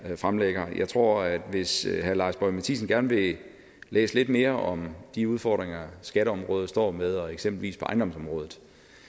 her fremlægger jeg tror at hvis herre lars boje mathiesen gerne vil læse lidt mere om de udfordringer skatteområdet står med eksempelvis på ejendomsområdet